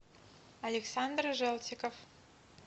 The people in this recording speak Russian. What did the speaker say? александр желтиков